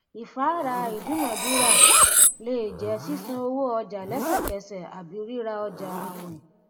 ìfáàrà ìdúnnàdúnrà lè jẹ sísan owó ọjà lẹsẹkẹsẹ àbí ríra ọjà àwìn